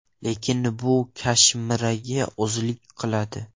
Lekin bu Kashmiraga ozlik qiladi.